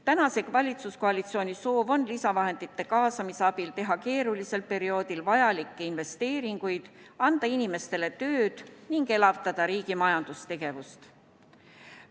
Tänase valitsuskoalitsiooni soov on lisavahendite kaasamise abil teha keerulisel perioodil vajalikke investeeringuid, anda inimestele tööd ning elavdada riigi majandustegevust.